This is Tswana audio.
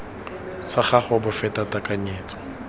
sa gago bo feta tekanyetso